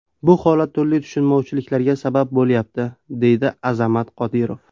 Bu holat turli tushunmovchiliklarga sabab bo‘lyapti”, deydi Azamat Qodirov.